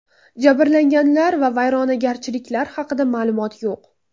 Jabrlanganlar va vayronagarchiliklar haqida ma’lumot yo‘q.